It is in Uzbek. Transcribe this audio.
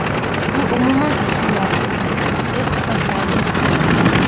Bu umuman ahamiyatsiz”, deb hisoblaydi ekspert.